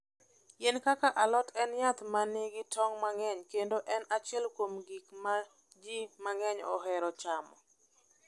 Yien kaka alot en yath ma nigi tong' mang'eny kendo en achiel kuom gik ma ji mang'eny ohero chamo.